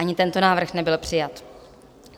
Ani tento návrh nebyl přijat.